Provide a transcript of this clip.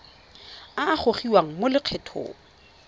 a a gogiwang mo lokgethong